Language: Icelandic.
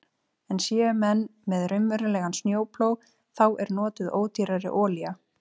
En séu menn með raunverulegan snjóplóg þá er notuð ódýrari olía.